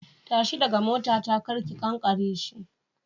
Tashi daga motata kar ki kankare shi.